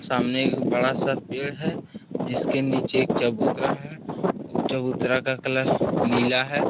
सामने एक बड़ासा पेड़ है जिसके नीचे एक चबूतरा है चबूतरा का कलर नीला है।